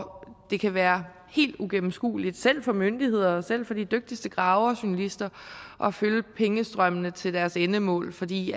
det kan være helt uigennemskueligt selv for myndigheder selv for de dygtigste graverjournalister at følge pengestrømmene til deres endemål fordi